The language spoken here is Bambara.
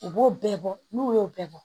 U b'o bɛɛ bɔ n'u y'o bɛɛ bɔ